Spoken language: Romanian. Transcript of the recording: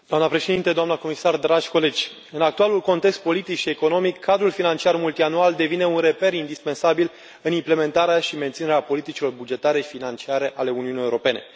Doamnă președintă, doamnă comisar, dragi colegi, în actualul context politic și economic, cadrul financiar multianual devine un reper indispensabil în implementarea și menținerea politicilor bugetare financiare ale Uniunii Europene.